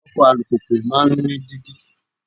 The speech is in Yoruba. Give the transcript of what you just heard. Ọkọ̀ alùpùpù máa ń ní dígí.